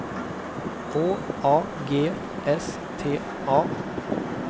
H A G S T A